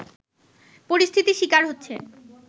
পরিস্থিতির শিকার হচ্ছে